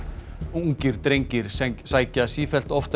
ungir drengir sækja sífellt oftar